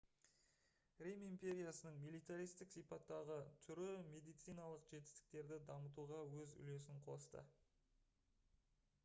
рим империясының милитаристік сипаттағы түрі медициналық жетістіктерді дамытуға өз үлесін қосты